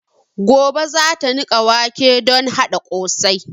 Gobe zata niƙa wake don haɗa ƙosai